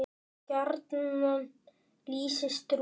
gjarnan lýsist rúmið